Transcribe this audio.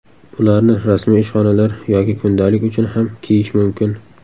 Ularni rasmiy ishxonalar yoki kundalik uchun ham kiyish mumkin.